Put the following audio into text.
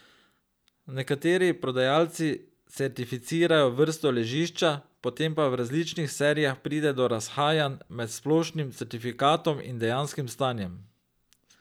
Nekateri prodajalci certificirajo vrsto ležišča, potem pa v različnih serijah pride do razhajanj med splošnim certifikatom in dejanskim stanjem.